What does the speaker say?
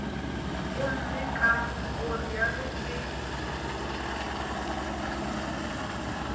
gomme ka go realo ke